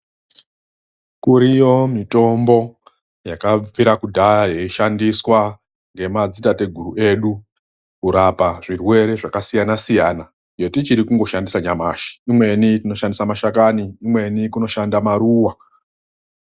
KURIYO MITOMBO YAKABVIRA KUDHARA YEISHANDISWA NGEMADZITATEGURU EDU KURAPA ZVIRWERE ZVAKASIYANA SIYANA YECHITIRI KUNGOSHANDISA .NYAMASHI IMWENI TINOSHANDISA MASHAKANI IMWENI TEISHANDISA MARUWA.